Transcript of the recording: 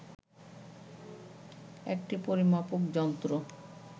একটি পরিমাপক যন্ত্র